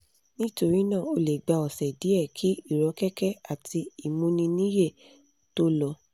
nítorí náà ó lè gba ọ̀sẹ̀ díẹ̀ kí ìrọ́kẹ̀kẹ̀ àti ìmúniníyè tó lọ